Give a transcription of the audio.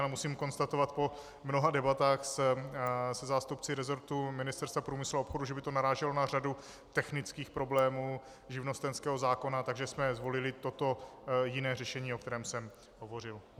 Ale musím konstatovat po mnoha debatách se zástupci resortu Ministerstva průmyslu a obchodu, že by to naráželo na řadu technických problémů živnostenského zákona, takže jsme zvolili toto jiné řešení, o kterém jsem hovořil.